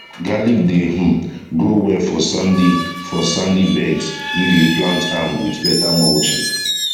garlic dey um grow well for sandy for sandy beds if you plant am with better mulching